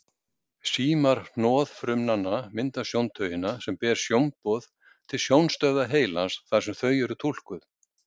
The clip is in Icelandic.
Símar hnoðfrumnanna mynda sjóntaugina sem ber sjónboð til sjónstöðva heilans þar sem þau eru túlkuð.